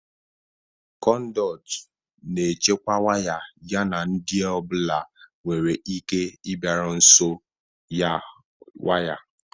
Conduit na-echekwa waya yana ndị ọ bụla nwere ike ịbịaru nso waya